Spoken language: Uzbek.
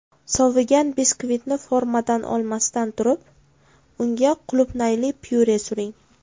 Sovigan biskvitni formadan olmasdan turib, unga qulupnayli pyure suring.